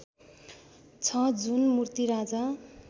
छ जुन मूर्ति राजा